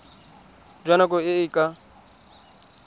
jwa nako e e ka